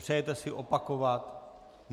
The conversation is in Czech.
Přejete si opakovat?